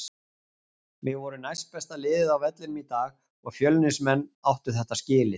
Við vorum næstbesta liðið á vellinum í dag og Fjölnismenn áttu þetta skilið.